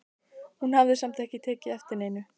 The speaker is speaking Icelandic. Hún hafði samt ekki tekið eftir neinu.